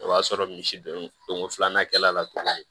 O y'a sɔrɔ misi don ko filanan kɛla la tuguni